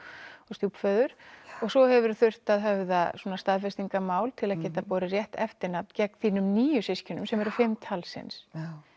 stjúpföður og svo hefur þurft að höfða svona staðfestingarmál til að geta borið rétt eftirnafn gegn þínum nýju systkinum sem eru fimm talsins